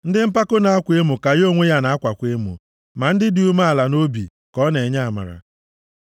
Ndị mpako na-akwa emo ka ya onwe ya na-akwakwa emo, ma ndị dị umeala nʼobi ka ọ na-enye amara. + 3:34 \+xt Jem 4:6; 1Pt 5:5\+xt*